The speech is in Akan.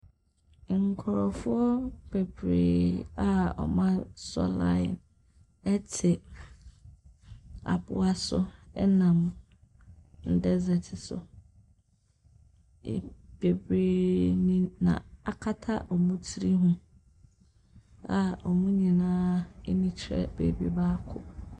Nkurɔfoɔ bebree a wɔasɔ line te aboa so nam desert so. E bebree na akata wɔn tiri ho a wɔn nyinaa ani kyerɛ baabi baako.